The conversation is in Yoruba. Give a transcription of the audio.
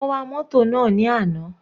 Mo wa mótò náà ní àná.